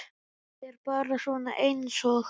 Ég er bara svona einsog.